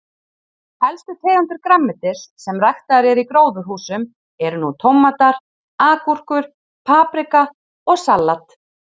Helstu tegundir grænmetis sem ræktaðar eru í gróðurhúsum eru nú tómatar, agúrkur, paprika og salat.